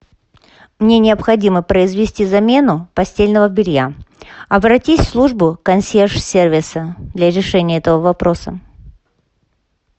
мне необходимо произвести замену постельного белья обратись в службу консьерж сервиса для решения этого вопроса